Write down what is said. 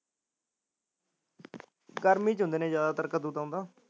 ਗਰਮੀ ਚ ਹੁੰਦੇ ਨੇ ਜਿਆਦਾ ਤਰ ਉਦੋ ਤਾਂ